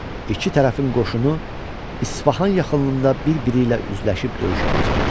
İki tərəfin qoşunu İsfahan yaxınlığında bir-biri ilə üzləşib döyüşə başladı.